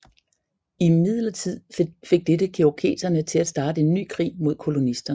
Imidlertid fik dette cherokeserne til at starte en ny krig mod kolonisterne